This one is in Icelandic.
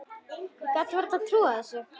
Ég gat vart trúað þessu.